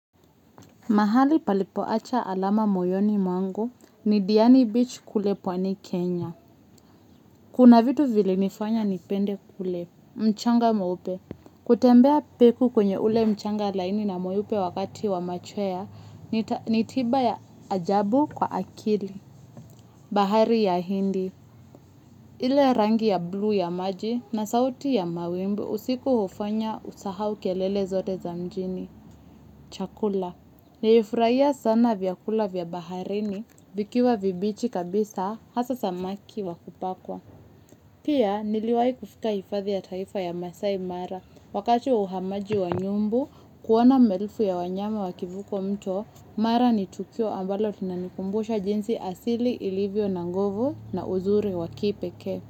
Mahali palipo acha alama moyoni mwangu ni Diani Beach kule pwani Kenya. Kuna vitu vilinifanya nipende kule. Mchanga mweupe. Kutembea peku kwenye ule mchanga laini na mweupe wakati wa machwea ni tiba ya ajabu kwa akili. Bahari ya hindi. Ile rangi ya blue ya maji na sauti ya mawimbi usiku hufanya usahau kelele zote za mjini. Chakula. Nilifurahia sana vyakula vya baharini, vikiwa vibichi kabisa, hasa samaki wa kupakwa. Pia niliwahi kufika hifadhi ya taifa ya maasai mara, wakati wa uhamaji wa nyumbu, kuona maelfu ya wanyama wakivuka mto, mara ni tukio ambalo tunanikumbusha jinsi asili ilivyo na nguvu na uzuri wa kipekee.